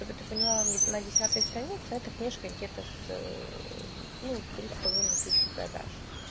чтобы ты понимала на десятой странице эта книжка где-то с ну три с половиной тысячи продаж